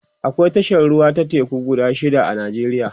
akwai tashar ruwa ta teku guda shida a nijeriya